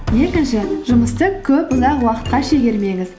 екінші жұмысты көп ұзақ уақытқа шегермеңіз